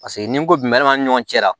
Paseke ni n ko jumɛn b'a ni ɲɔgɔn cɛ la